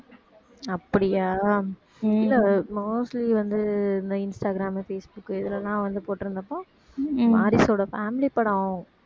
அப்படியா இல்லை mostly வந்து இந்த இன்ஸ்டாகிராம், பேஸ்புக் இதுல எல்லாம் வந்து போட்டுருந்தப்போ வாரிசு ஒரு family படம்